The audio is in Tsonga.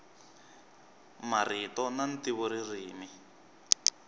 marito na ntivo ririmi